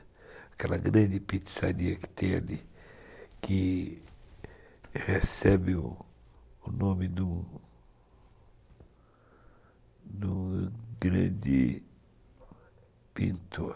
Aquela grande pizzaria que tem ali, que recebe o nome do grande pintor.